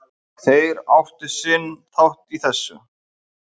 Þeir áttu sinn þátt í þessu